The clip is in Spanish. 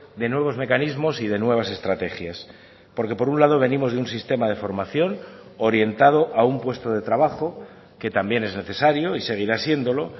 de nuevos mecanismos y de nuevas estrategias porque por un lado venimos de un sistema de formación orientado a un puesto de trabajo que también es necesario y seguirá siéndolo